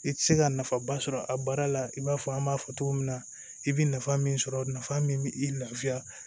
I tɛ se ka nafaba sɔrɔ a baara la i b'a fɔ an b'a fɔ cogo min na i bɛ nafa min sɔrɔ nafa min bɛ i lafiya